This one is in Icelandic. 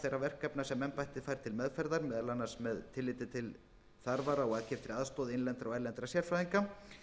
þeirra verkefna sem embættið fær til meðferðar meðal annars með tilliti til þarfar á aðkeyptri aðstoð innlendra og erlendra sérfræðinga